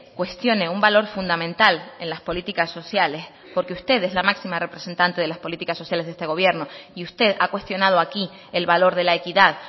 cuestione un valor fundamental en las políticas sociales porque usted es la máxima representante de las políticas sociales de este gobierno y usted ha cuestionado aquí el valor de la equidad